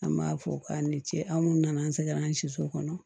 An b'a fɔ k'a ni ce aw minnu nana an sɛgɛnna an si so kɔnɔ